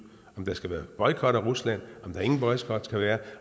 om der skal være boykot af rusland om der ingen boykot skal være